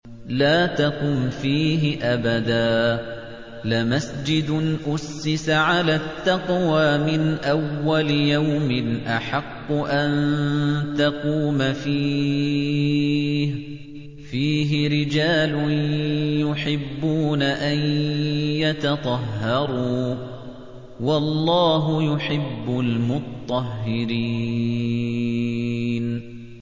لَا تَقُمْ فِيهِ أَبَدًا ۚ لَّمَسْجِدٌ أُسِّسَ عَلَى التَّقْوَىٰ مِنْ أَوَّلِ يَوْمٍ أَحَقُّ أَن تَقُومَ فِيهِ ۚ فِيهِ رِجَالٌ يُحِبُّونَ أَن يَتَطَهَّرُوا ۚ وَاللَّهُ يُحِبُّ الْمُطَّهِّرِينَ